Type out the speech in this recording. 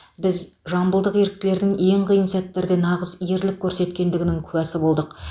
біз жамбылдық еріктілердің ең қиын сәттерде нағыз ерлік көрсеткендігінің куәсі болдық